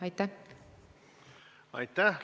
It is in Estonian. Aitäh!